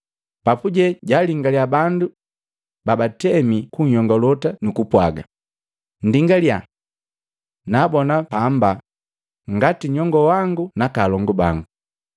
Papuje jalingalya bandu babatemi kun'yongolota nukupwaga, “Nndingalya! Naabona bamba ngati nyongowangu naka alongu bango.